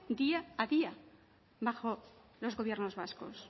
día a día bajo los gobiernos vascos